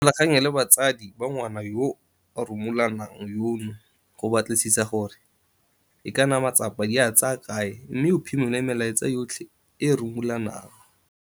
Ikgolaganye le batsadi ba ngwana yo a rumulanang yono go batlisisa gore e ka bo matsapa di a tsaya kae mme o phimole melaetsa yotlhe e e rumulanang.